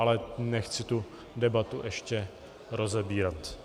Ale nechci tu debatu ještě rozebírat.